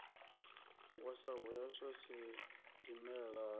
wa sa hweswe sidimela ha